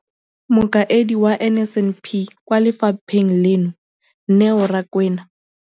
Mokaedi wa NSNP kwa lefapheng leno, Neo Rakwena,